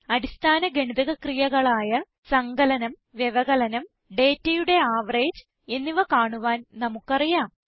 അടിസ്ഥാന ഗണിതക ക്രിയകളായ സങ്കലനം വ്യവകലനം ഡേറ്റയുടെ ആവറേജ് എന്നിവ കാണുവാൻ നമുക്ക് അറിയാം